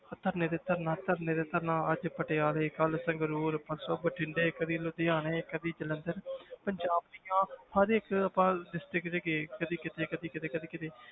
ਧਰਨੇ ਤੇ ਧਰਨਾ ਧਰਨੇ ਤੇ ਧਰਨਾ ਅੱਜ ਪਟਿਆਲੇ ਕੱਲ੍ਹ ਸੰਗਰੂਰ ਪਰਸੋਂ ਬਠਿੰਡੇ ਕਦੇ ਲੁਧਿਆਣੇ ਕਦੇ ਜਲੰਧਰ ਪੰਜਾਬ ਦੀਆਂ ਹਰ ਇੱਕ ਆਪਾਂ district 'ਚ ਗਏ ਕਦੇ ਕਿਤੇ ਕਦੇ ਕਿਤੇ ਕਦੇ ਕਿਤੇ